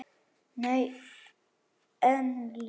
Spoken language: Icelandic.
Nei, enginn